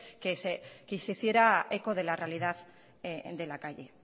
que se hiciera eco de la realidad de la calle